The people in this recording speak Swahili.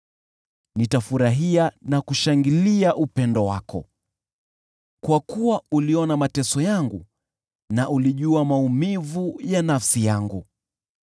Nitafurahia na kushangilia upendo wako, kwa kuwa uliona mateso yangu na ulijua maumivu ya nafsi yangu.